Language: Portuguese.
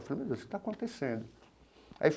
Falei, meu Deus, o que está acontecendo? Aí.